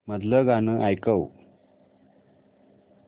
मधलं गाणं ऐकव